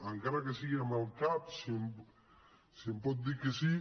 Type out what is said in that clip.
encara que sigui amb el cap si em pot dir que sí